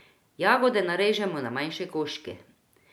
Jagode narežemo na manjše koščke.